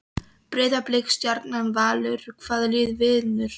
Breiðablik, Stjarnan, Valur- hvaða lið vinnur?